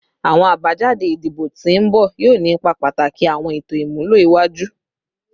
Awọn abajade idibo ti n bọ yoo ni ipa pataki awọn eto imulo iwaju